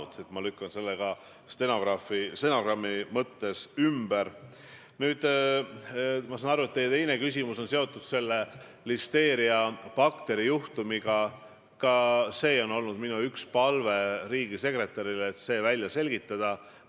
Ja küsimus ei ole selles, et Urmas Reitelmann pole ilmselgelt siiamaani aru saanud, kuhu ta saadetakse, sest eile Riigikogu kõnepuldis rääkis ta NATO teemadel, millega ENPA-l on suhteliselt vähe kokkupuuteid, kuigi ei saa ka öelda, et need üldse puuduvad, kas või mõtteliste sildadena.